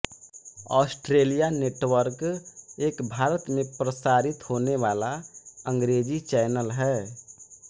Australia network एक भारत में प्रसारित होने वाला अंग्रेज़ी चैनल है